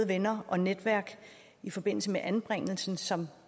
venner og netværk i forbindelse med anbringelsen som